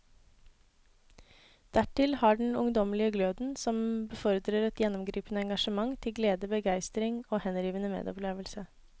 Dertil har han den ungdommelige gløden som befordrer et gjennomgripende engasjement til glede, begeistring og henrivende medopplevelse.